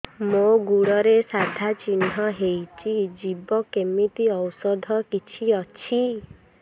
ମୋ ଗୁଡ଼ରେ ସାଧା ଚିହ୍ନ ହେଇଚି ଯିବ କେମିତି ଔଷଧ କିଛି ଅଛି